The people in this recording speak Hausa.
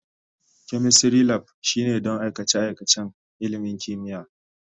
Chemistry Lab shine don aikace-aikacen ilimin kimiyya.